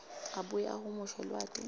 abuye ahumushe lwati